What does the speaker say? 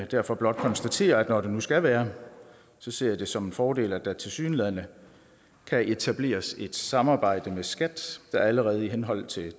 derfor blot konstatere at når det nu skal være ser jeg det som en fordel at der tilsyneladende kan etableres et samarbejde med skat der allerede i henhold til